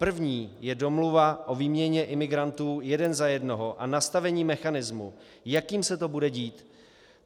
První je domluva o výměně imigrantů jeden za jednoho a nastavení mechanismu, jakým se to bude dít.